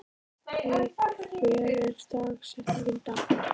Kristine, hver er dagsetningin í dag?